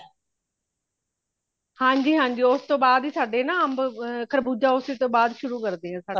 ਹਾਂਜੀ ਹਾਂਜੀ ਉਸਤੋਂ ਬਾਧ ਹੀ ਸਾਡੇ ਨਾ ਅੰਬ ਖਰਬੂਜ਼ਾ ਉਸੀ ਤੋਂ ਬਾਧ ਹੀ ਸ਼ੁਰੂ ਕਰਦੇ ਸਾਡੇ